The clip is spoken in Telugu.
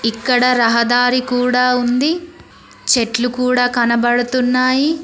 ఇక్కడ రహదారి కూడా ఉంది చెట్లు కూడా కనబడుతున్నాయి.